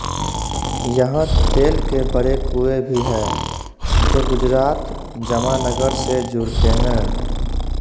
यहाँ तेल के बड़े कुएँ भी है जो गुजरात जमानगर से जुड़ते है